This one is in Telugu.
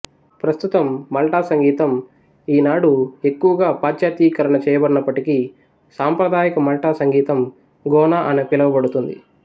ప్రస్తుతం మల్టా సంగీతం ఈనాడు ఎక్కువగా పాశ్చాత్యీకరణ చేయబడినప్పటికీ సాంప్రదాయిక మల్టా సంగీతం గోనా అని పిలవబడుతుంది